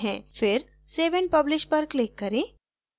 फिर save and publish पर click करें